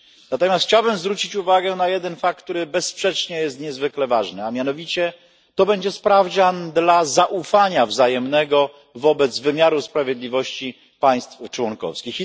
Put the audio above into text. Natomiast chciałbym zwrócić uwagę na jeden fakt, który bezsprzecznie jest niezwykle ważny, a mianowicie to będzie sprawdzian zaufania wzajemnego wobec wymiaru sprawiedliwości państw członkowskich.